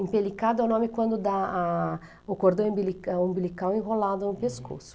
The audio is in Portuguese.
Empelicado é o nome quando dá ah, o cordão umbili umbilical enrolado no pescoço.